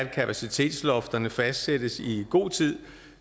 kapacitetslofterne fastsættes i god tid